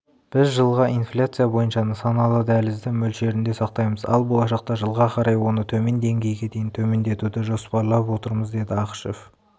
біз жылға инфляция бойынша нысаналы дәлізді мөлшерінде сақтаймыз ал болашақта жылға қарай оны төмен деңгейге дейін төмендетуді жоспарлап отырмыз деді ақышев